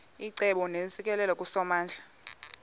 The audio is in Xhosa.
icebo neentsikelelo kusomandla